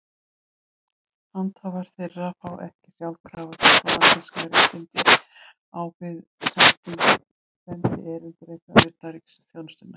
Handhafar þeirra fá ekki sjálfkrafa diplómatísk réttindi á við sendierindreka utanríkisþjónustunnar.